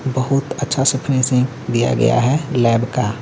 बहुत अच्छा से फिनिशिंग दिया गया है लैब का।